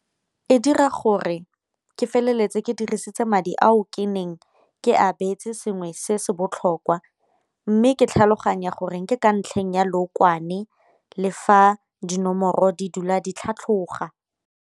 E dira gore ke feleletse ke dirisitse madi ao ke neng ke a beetse sengwe se se botlhokwa, mme ke tlhaloganya gore ke ka ntlheng ya lookwane le fa dinomoro di dula di tlhatlhoga.